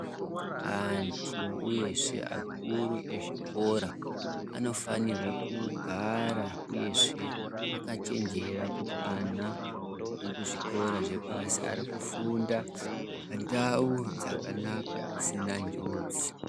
Antu, uyezve akuru ezvikora anofanirwe kugara uyezve akachenjera kuti ana ekuzvikora zvepashi arikufunda pandau dzakanaka dzisna njodzi.